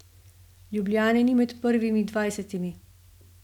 Ljubljane ni med prvimi dvajsetimi.